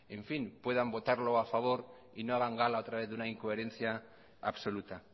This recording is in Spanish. puedan votarlo a favor y no hagan gala otra vez de una incoherencia absoluta